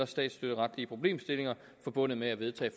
statsstøtteretlige problemstillinger forbundet med at vedtage